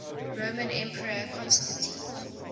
roman emperor constantine